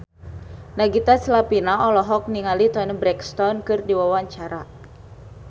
Nagita Slavina olohok ningali Toni Brexton keur diwawancara